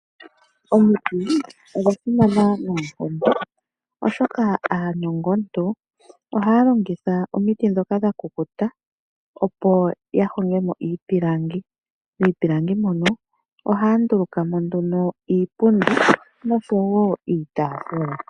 Omuti ogwasimana noonkondo oshoka aanongo-muntu ohaya longitha omiti dhoka dhakukuta opo yahogemo iipilangi, miipilangi mono ohaya ndulukamo nduno iipundi noshowo iitafula.